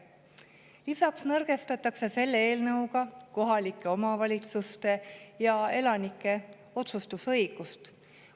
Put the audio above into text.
Lisaks nõrgestatakse selle eelnõuga kohalike omavalitsuste ja elanike otsustusõigust.